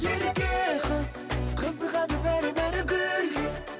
ерке қыз қызығады бәрі бәрі гүлге